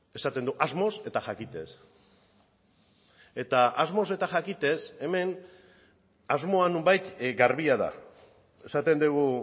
esaten du asmoz eta jakitez eta asmoz eta jakitez hemen asmoa nonbait garbia da esaten dugu